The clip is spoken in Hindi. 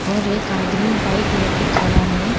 और एक आदमी बाइक लेके खड़ा है।